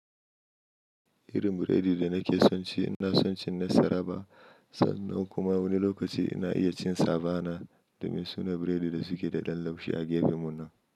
Irin biredi da nake son ci, ina son cin nasara ba sannan kuma wani lokaci ina iya cin sabana da mai suna biredi da suke da ɗan laushi a gefenmu nan.